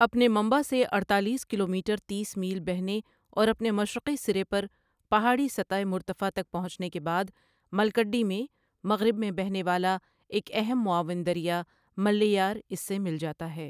اپنے منبع سے اڑتالیس کلومیٹر تیس میل بہنے اور اپنے مشرقی سرے پر پہاڑی سطح مرتفع تک پہنچنے کے بعد، ملّکڈی میں، مغرب میں بہنے والا ایک اہم معاون دریا ملّیار اس سے مل جاتا ہے